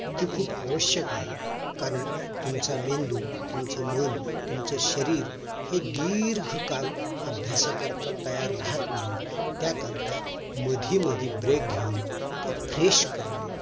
ती खूप आवश्यक आहे कारण तुमचा मेंदू तुमचं मन तुमचं शरीर हे दीर्घ काळ अभ्यासा करता तयार राहत नाही त्या करता मध्येमधे break घेऊन ते fresh करण